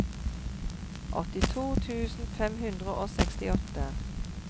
åttito tusen fem hundre og sekstiåtte